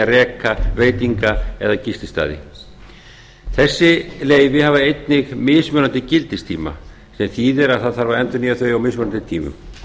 reka veitinga eða gististaði þessi leyfi hafa einnig mismunandi gildistíma sem þýðir að það þarf endurnýja þau á mismunandi tímum